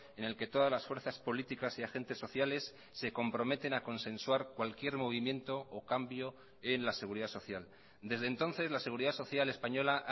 en el que todas las fuerzas políticas y agentes sociales se comprometen a consensuar cualquier movimiento o cambio en la seguridad social desde entonces la seguridad social española